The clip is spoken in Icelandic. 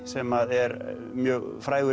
sem er mjög frægur